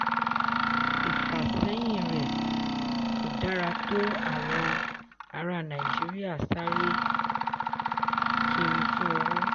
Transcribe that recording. ìfàsẹ́yìn rẹ̀ kò dára tó àwọn ará nàìjíríà sáré kiri fun owó.